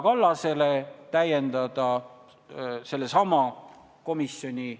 Sa olid sellel hetkel rahandusminister ja ma soovitan kõigil lugeda selle eelnõu arutelu 2001. aastal siin saalis.